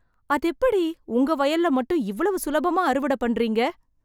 அதெப்படி உங்க வயல்ல மட்டும் இவ்வளவு சுலபமா அறுவடை பண்றீங்க